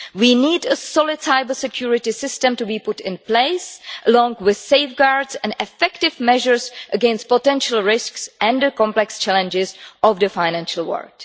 We need a solid cyber security system to be put in place, along with safeguards and effective measures against potential risks and the complex challenges of the financial world.